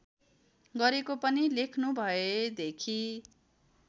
गरेको पनि लेख्नुभएदेखि